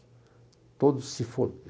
Todos se